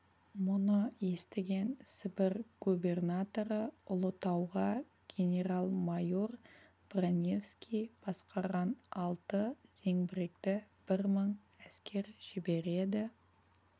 мұны естіген сібір губернаторы ұлытауға генерал-майор броневский басқарған алты зеңбіректі бір мың әскер жібереді